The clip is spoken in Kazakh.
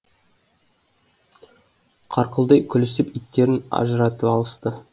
қарқылдай күлісіп иттерін ажыратып алысты